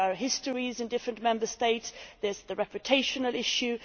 there are histories in different Member States there is the reputation issue